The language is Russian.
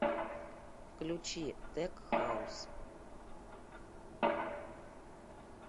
включи тек хаус